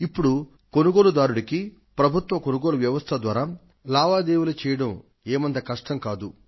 ఇప్పుడు కొనుగోలుదారుకు ప్రభుత్వ కొనుగోలు వ్వవస్థ ద్వారా లావాదేవీ చేయడం ఏమంత కష్టం కాదు